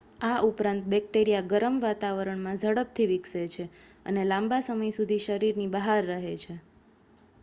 આ ઉપરાંત બેક્ટેરિયા ગરમ વાતાવરણમાં ઝડપથી વિકસે છે અને લાંબા સમય સુધી શરીરની બહાર રહે છે